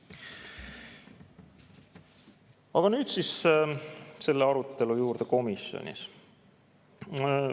Aga nüüd siis selle arutelu juurde komisjonis.